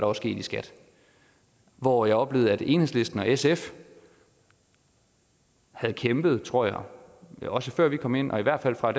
var sket i skat hvor jeg oplevede at enhedslisten og sf havde kæmpet tror jeg også før vi kom ind og i hvert fald fra